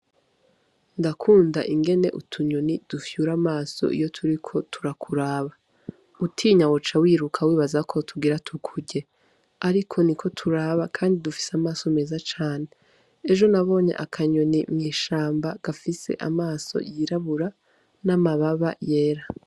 Ndakunda ingene utunyoni dufyura amaso iyo turiko turakuraba. Utinya woca wiruka wibaza ko tugira tukurye. Ariko niko turaba kandi dufise amaso meza cane. Ejo nabonye akanyoni mw'ishamba gafise amaso yirabura, n'amababa yera.